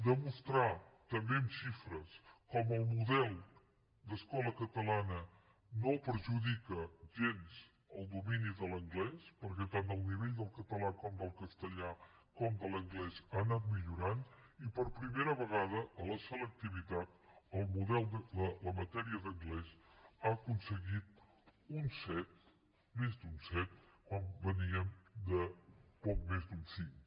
demostrar també amb xifres com el model d’escola catalana no perjudica gens el domini de l’anglès perquè tant el nivell del català com del castellà com de l’anglès ha anat millorant i per primera vegada a la selectivitat la matèria d’anglès ha aconseguit un set més d’un set quan veníem de poc més d’un cinc